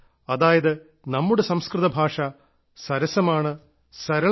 അതായത് നമ്മുടെ സംസ്കൃതഭാഷ സരസമാണ് സരളമാണ്